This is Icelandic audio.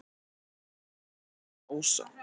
Hann er alfaðir ása.